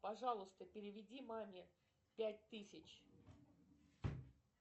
пожалуйста переведи маме пять тысяч